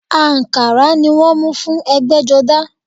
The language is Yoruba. Àǹkárá ni wọ́n mú fún ẹ̀gbẹ́jọdá